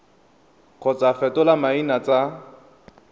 kgotsa go fetola maina tsa